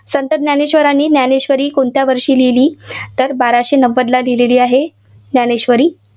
संत ज्ञानेश्वरांनी ज्ञानेश्वरी कोणत्या वर्षी लिहिली? तर बाराशे नव्वदला लिहिलेली आहे, ज्ञानेश्वरी.